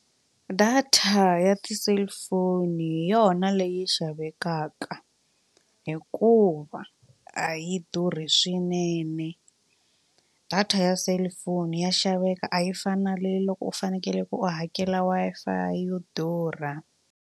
Data ya ti-cellphone hi yona leyi xavekaka hikuva a yi durhi swinene data ya cellphone ya xaveka a yi fani nale loko u fanekele ku u hakela Wi-Fi yo durha.